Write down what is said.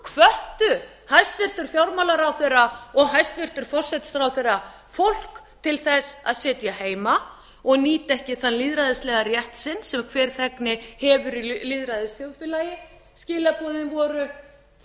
þá hvöttu hæstvirtur fjármálaráðherra og hæstvirtur forsætisráðherra fólk til þess að sitja heima og nýta ekki þann lýðræðislega rétt sinn sem hver þegn hefur í lýðræðisþjóðfélagi skilaboðin voru þið